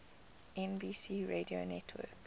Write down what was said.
nbc radio network